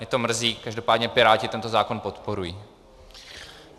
Mě to mrzí, každopádně Piráti tento zákon podporují.